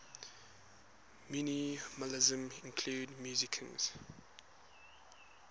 minimalism include musicians